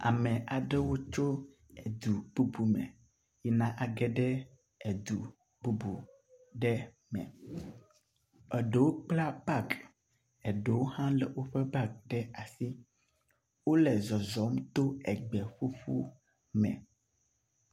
Ame aɖewo tso edu bubu me yina age ɖe edu bubu aɖe me. Eɖewo kpla bagi eɖewo hã le woƒe bagiwo ɖe asi. Wo le zɔzɔm to egbe ƒuƒu me.